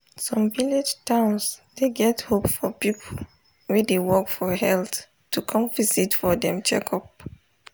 some village towns dey get hope for people wey dey work for health to come visit for dem checkup.